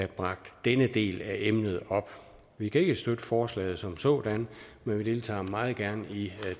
bragt denne del af emnet op vi kan ikke støtte forslaget som sådan men vi deltager meget gerne i